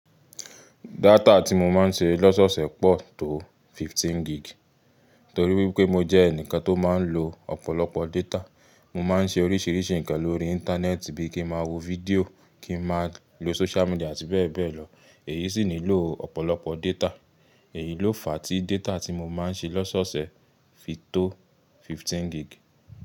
Data tí mo máa ń ṣe lọ́sọ̀ọ̀sẹ̀ pọ̀ tó fifteen gig, torí wípé mo jẹ́ ẹnìkan tó máa ń lo ọ̀pọ̀lọpọ̀ data. Mo máa ń ṣe oríṣìíríṣìí ǹkan lórí Íńtánẹ́ẹ̀tì bíi kí ń máa wo fídíò, kí ń máa lo social media àti bẹ́ẹ̀ bẹ́ẹ̀ lọ. Èyí sì nílò ọ̀pọ̀lọpọ̀ data. Èyí ló fa tí data tí mo máa ń ṣe lọ́sọ̀ọ̀sẹ̀ fi tó fifteen gig.